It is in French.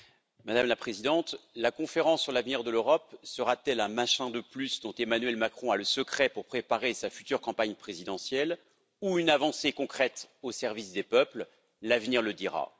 Madame la Présidente, la conférence sur l'avenir de l'Europe sera t elle un machin de plus dont Emmanuel Macron a le secret pour préparer sa future campagne présidentielle ou une avancée concrète au service des peuples? L'avenir le dira.